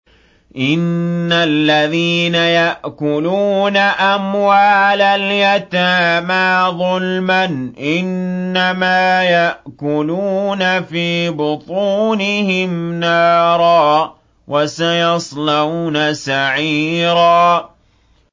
إِنَّ الَّذِينَ يَأْكُلُونَ أَمْوَالَ الْيَتَامَىٰ ظُلْمًا إِنَّمَا يَأْكُلُونَ فِي بُطُونِهِمْ نَارًا ۖ وَسَيَصْلَوْنَ سَعِيرًا